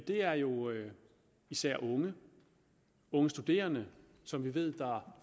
det er jo især unge unge studerende som vi ved